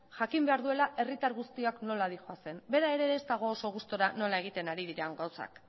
jakin behar duela herritar guztiok nola doazen bera ere ez dago oso gustura nola egiten ari diren gauzak